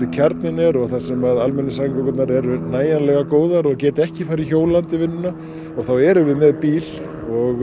kjarninn er og þar sem almenningssamgöngurnar eru nægilega góðar og geta ekki farið hjólandi í vinnuna og þá erum við með bíl og